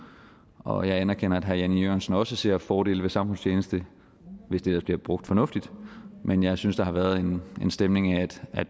og jeg anerkender at herre jan e jørgensen også ser fordele ved samfundstjeneste hvis det ellers bliver brugt fornuftigt men jeg synes der har været en stemning af at